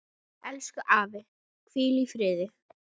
Elsku afi, hvíl í friði.